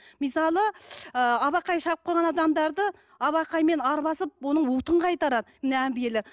мысалы ы абақай шаққан адамдарды абақаймен арбасып оның уытын қайтарады мына әмбиелер